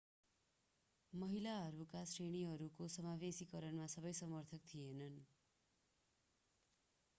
महिलाहरूका श्रेणीहरूको समावेशीकरणमा सबै समर्थक थिएनन्